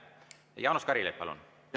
Jaanus Karilaid, palun!